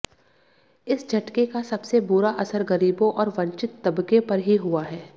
इस झटके का सबसे बुरा असर गरीबों और वंचित तबके पर ही हुआ है